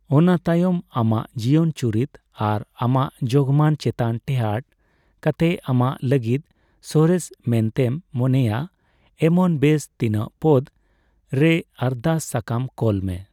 ᱚᱱᱟᱛᱟᱭᱚᱢ ᱟᱢᱟᱜ ᱡᱤᱭᱚᱱ ᱪᱩᱨᱤᱛ ᱟᱨ ᱟᱢᱟᱜ ᱡᱳᱜᱢᱟᱱ ᱪᱮᱛᱟᱱ ᱴᱮᱸᱦᱟᱴ ᱠᱟᱛᱮ ᱟᱢᱟᱜ ᱞᱟᱹᱜᱤᱫ ᱥᱚᱨᱮᱥ ᱢᱮᱱᱛᱮᱢ ᱢᱚᱱᱮᱭᱟ ᱮᱢᱚᱱ ᱵᱮᱥ ᱛᱤᱱᱟᱹᱜ ᱯᱚᱫ ᱨᱮᱭ ᱟᱨᱫᱟᱥ ᱥᱟᱠᱟᱢ ᱠᱳᱞ ᱢᱮ ᱾